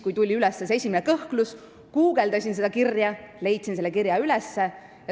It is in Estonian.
Kui tuli kõne alla esimene kõhklus, guugeldasin ma ja leidsin selle kirja üles.